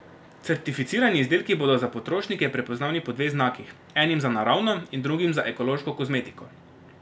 Certificirani izdelki bodo za potrošnike prepoznavni po dveh znakih, enim za naravno in drugim za ekološko kozmetiko.